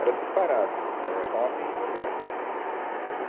Era separado, é, homem e mulher, né?